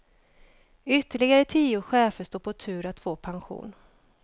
Ytterligare tio chefer står på tur att få pension.